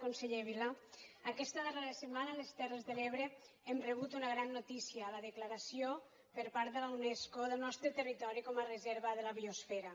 conseller vila aquesta darrera setmana les terres de l’ebre hem rebut una gran notícia la declaració per part de la unesco del nostre territori com a reserva de la biosfera